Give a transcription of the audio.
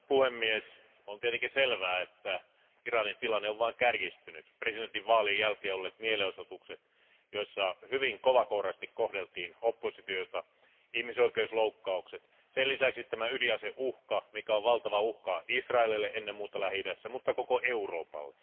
Arvoisa puhemies, on tietenkin selvää, että Iranin tilanne on vain kärjistynyt presidentinvaalien jälkeen olleet mielenosoitukset, joissa hyvin kovakouraisesti kohdeltiin oppositiota, ihmisoikeusloukkaukset, sen lisäksi ydinaseuhka, mikä on valtava uhka Lähi idässä ennen muuta Israelille, mutta myös koko Euroopalle.